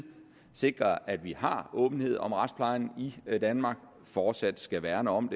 sikrer at vi har åbenhed om retsplejen i danmark fortsat skal værne om